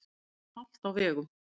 Víða er hált á vegum